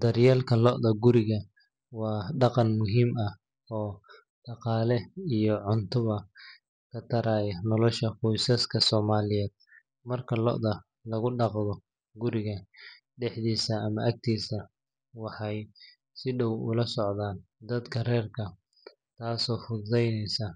Daryeelka lo’da guriga waa dhaqan muhiim ah oo dhaqaale iyo cuntoba ka taraya nolosha qoysaska Soomaaliyeed. Marka lo’da lagu dhaqdo guriga dhexdiisa ama agtiisa, waxay si dhow ula socdaan dadka reerka, taasoo fududeysa